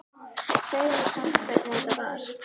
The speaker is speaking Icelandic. Segðu mér samt hvernig þetta var.